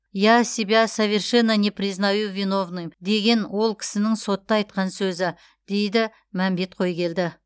я себя совершенно не признаю виновным деген ол кісінің сотта айтқан сөз дейді мәмбет қойгелді